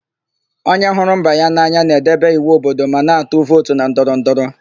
Onye hụrụ mba ya n'anya na-edebe iwu obodo ma na-atụ vootu na ndọrọndọrọ.